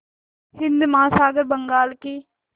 हिंद महासागर बंगाल की